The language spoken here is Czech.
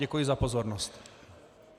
Děkuji za pozornost.